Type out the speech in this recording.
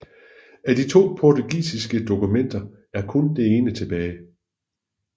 Af de to portugisiske dokumenter er kun det ene tilbage